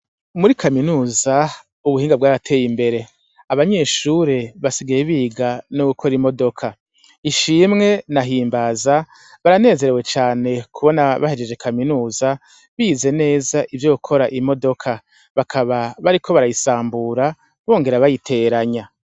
Muri kaminuza ubuhinga bw'arateye imbere abanyeshure basigaye biga no gukora imodoka ishimwe nahimbaza baranezerewe cane kubona bahejeje kaminuza bize neza ivyo kora imodoka bakaba bariko barayisambura bongera bayiteranya.